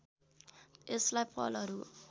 यसलाई फलहरूको